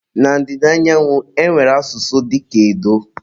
Na Ndida Naijiria, e nwere asụsụ dịka edo.